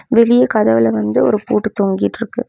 வெளிய கதவுல வந்து ஒரு பூட்டு தொங்கிட்டிருக்கு.